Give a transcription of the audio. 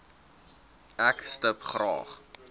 ek stip graag